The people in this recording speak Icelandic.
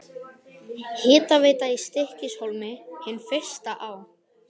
Hitaveita í Stykkishólmi, hin fyrsta á